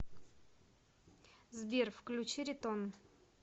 сбер включи ритон